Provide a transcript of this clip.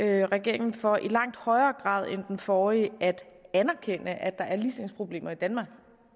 regeringen for i langt højere grad end den forrige at anerkende at der er ligestillingsproblemer i danmark